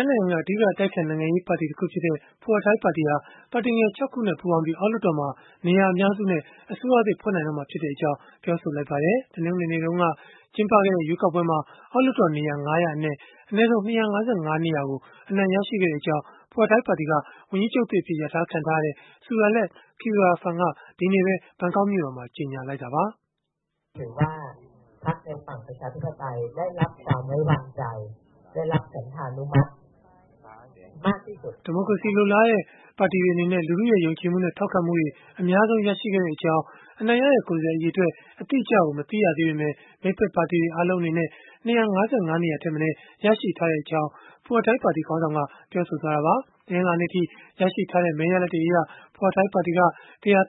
င်းနိုင်ငံက အဓိက အတိုက်အခံ နိုင်ငံရေးပါတီ တခုဖြစ်တဲ့ Pheu Thai ပါတီဟာ ပါတီငယ် ၆ ခုနဲ့ ပူးပေါင်းပြီး အောက်လွှတ်တော်မှာ နေရာအများစုနဲ့ အစိုးရသစ် ဖွဲ့နိုင်တော့မှာ ဖြစ်ကြောင်း ပြောဆိုလိုက်ပါတယ်။ တနင်္ဂနွေနေ့က ကျင်းပခဲ့တဲ့ ရွေးကောက်ပွဲမှာ အောက်လွှတ်တော် နေရာ ၅၀၀ အနက် အနည်းဆုံး ၂၅၅ နေရာကို အနိုင်ရခဲ့ကြောင်းလည်း Pheu Thai ပါတီက ဝန်ကြီးချုပ်သစ် အဖြစ် လျာထားခံထားရတဲ့ Sudarat Keyuraphan က ဒီကနေ့ပဲ ဘန်ကောက်မြို့တော်မှာ ကြေညာလိုက်တာပါ။ ဒီမိုကရေစီ လိုလားတဲ့ ပါတီတွေ အနေနဲ့ လူထုရဲ့ ယုံကြည်မှုနဲ့ ထောက်ခံမှု အများဆုံး ရခဲ့ကြောင်း အနိုင်ရတဲ့ ကိုယ်စားလှယ် အရေအတွက် အတိအကျ မသိရသေးပေမဲ့ မိတ်ဖက် ပါတီတွေ အားလုံးအနေနဲ့ ၂၅၅ နေရာထက် မနည်း ရရှိထားကြောင်း Pheu Thai ပါတီခေါင်းဆောင်က ပြောဆိုသွားတာပါ။ တနင်္လာနေ့ အထိ ရရှိထားတဲ့ မဲ ရလဒ်တွေအရ Pheu Thai ပါတီက ၁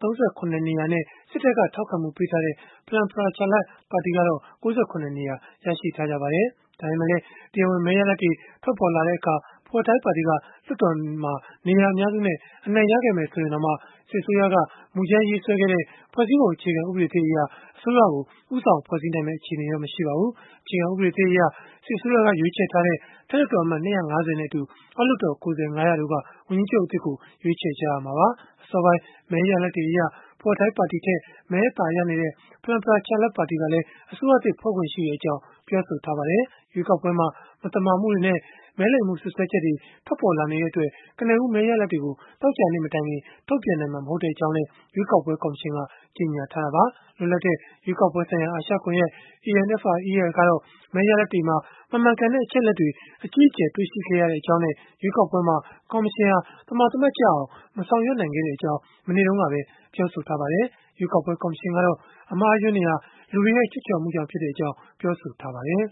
၃၇ နေရာနဲ့ စစ်တပ်က ထောက်ခံမှု ပေးထားတဲ့ Phalang Pracharat ပါတီက ၉၇ နေရာ ရရှိထားပါတယ်။ ဒါပေမဲ့လည်း တရားဝင် မဲ ရလဒ်တွေ ထွက်ပေါ်လာတဲ့အခါ Pheu Thai ပါတီက လွှတ်တော်မှာ နေရာအများစုနဲ့ အနိုင်ရခဲ့မယ် ဆိုရင်တောင်မှ စစ်အစိုးရက မူကြမ်း ရေးဆွဲခဲ့တဲ့ ဖွဲ့စည်းပုံ အခြေခံ ဥပဒေသစ်အရ အစိုးရကို ဦးဆောင် ဖွဲ့စည်းနိုင်မှာတော့ မဟုတ်ပါဘူး။ အခြေခံ ဥပဒေသစ်အရ စစ်အစိုးရက ရွေးချယ်ထားတဲ့ အထက် လွှတ်တော်အမတ် ၂၅၀ နဲ့အတူ အောက်လွှတ်တော် ကိုယ်စားလှယ် ၅၀၀ တို့က ဝန်ကြီးချုပ်သစ်ကို ရွေးချယ်ရမှာပါ။ အစောပိုင်း မဲရလဒ်တွေအရ Pheu Thai ပါတီထက် မဲ အသာရနေတဲ့ Phalang Pracharat ပါတီကလည်း အစိုးရသစ် ဖွဲ့ခွင့်ရှိကြောင်း ပြောဆိုထားပါတယ်။ ရွေးကောက်ပွဲမှာ မသမာမှုတွေနဲ့ မဲလိမ်မှု စွပ်စွဲချက်တွေ ထွက်ပေါ်လာနေတဲ့ အတွက် ကနဦး မဲရလဒ်တွေကို သောကြာနေ့ မတိုင်ခင် ထုတ်ပြန်နိုင်မှာ မဟုတ်ကြောင်း ရွေးကောက်ပွဲ ကော်မရှင်က ကြေညာခဲ့တာပါ။ လွတ်လပ်တဲ့ ရွေးကောက်ပွဲဆိုင်ရာ အာရှကွန်ယက် (ANFREL) ကတော့ မဲရလဒ်တွေမှာ မမှန်ကန်တဲ့ အချက်အလက်တွေ အကြီးအကျယ် တွေ့ရှိခဲ့ရကြောင်းနဲ့ ရွေးကောက်ပွဲမှာ ကော်မရှင်ဟာ သမာသမတ်ကျအောင် မဆောင်ရွက်နိုင်ခဲ့ကြောင်း မနေ့တုန်းကပဲ ပြောဆိုထားပါတယ်။ ရွေးကောက်ပွဲ ကော်မရှင်ကတော့ အမှားအယွင်းတွေဟာ လူတွေရဲ့ ချွတ်ချော်မှုကြောင့်လို့ ပြောဆိုထားပါတယ်